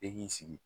E k'i sigi